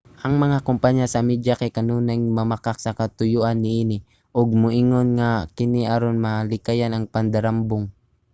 ang mga kompanya sa media kay kanunayng mamakak sa katuyuan niini ug moingon nga kini aron malikayan ang pandarambong